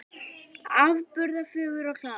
Afburða fögur og klár.